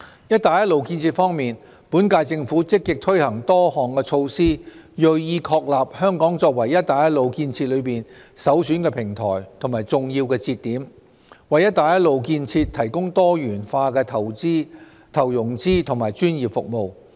"一帶一路"建設方面，本屆政府積極推行多項措施，銳意確立香港作為"一帶一路"建設中的首選平台和重要節點，為"一帶一路"建設提供多元化投融資及專業服務。